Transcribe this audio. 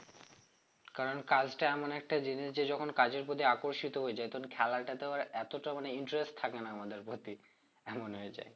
কারণ কাজটা এমন একটা জিনিস যে যখন কাজের প্রতি আকর্ষিত হয়ে যাই তখন খেলাটা তো এতটা মানে interest থাকে না আমাদের প্রতি এমন হয়ে যাই